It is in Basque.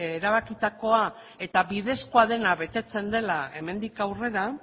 erabakitakoa eta bidezkoa dena betetzen dela hemendik aurrera